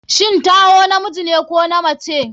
shin Taiwo namijine ko namace?